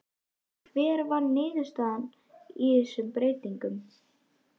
En hver var niðurstaðan af þessum breytingum?